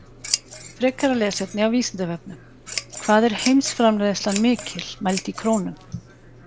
Frekara lesefni á Vísindavefnum: Hvað er heimsframleiðslan mikil, mæld í krónum?